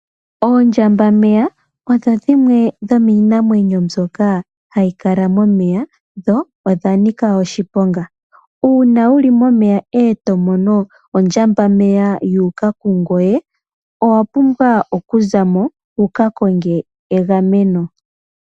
Oondjambameya odho dhimwe dhomiinamwenyo mbyoka hayi kala momeya, dho odha nika oshiponga. Uuna wu li momeya e to mono ondjambameya yu uka kungoye, owa pumbwa okuza mo wu ka konge egameno.